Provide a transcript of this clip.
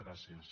gràcies